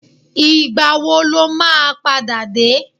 Ìgbàwo ló máa padà dé?